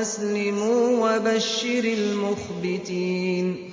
أَسْلِمُوا ۗ وَبَشِّرِ الْمُخْبِتِينَ